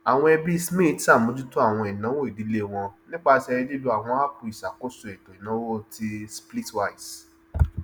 àwọn ẹbí smith ṣàmójútó àwọn ìnáwó ìdílé wọn nípasẹ lílò àwọn áàpù ìṣakóso ètò ìnáwó ti splitwise